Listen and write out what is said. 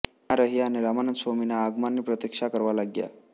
ત્યાં રહ્યા અને રામાનંદ સ્વામીના આગમનની પ્રતીક્ષા કરવા લાગ્યા